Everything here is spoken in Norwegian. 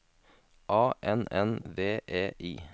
A N N V E I